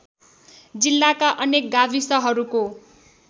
जिल्लाका अन्य गाविसहरूको